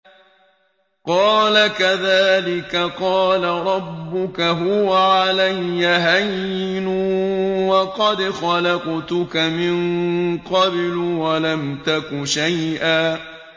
قَالَ كَذَٰلِكَ قَالَ رَبُّكَ هُوَ عَلَيَّ هَيِّنٌ وَقَدْ خَلَقْتُكَ مِن قَبْلُ وَلَمْ تَكُ شَيْئًا